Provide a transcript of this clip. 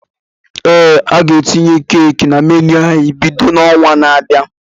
Ee, a ga etinye Keeki na menu ányị́ bido n'ọnwa na-abịanụ